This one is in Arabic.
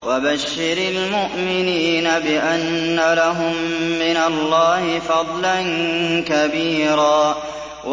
وَبَشِّرِ الْمُؤْمِنِينَ بِأَنَّ لَهُم مِّنَ اللَّهِ فَضْلًا كَبِيرًا